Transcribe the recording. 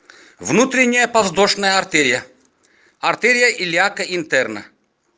внутренняя подвздошная артерия артерия илиака интерна